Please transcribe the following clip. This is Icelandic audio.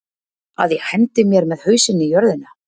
Að ég hendi mér með hausinn í jörðina?